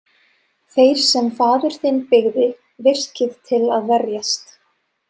Þeir sem faðir þinn byggði virkið til að verjast.